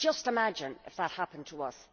Just imagine if that happened to us.